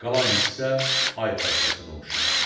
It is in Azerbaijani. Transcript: Qalan hissə ay parçasına oxşadı.